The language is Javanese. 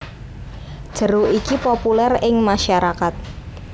Jeruk iki populer ing masyarakat